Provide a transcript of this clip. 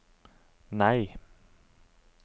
nei